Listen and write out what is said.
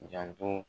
Janto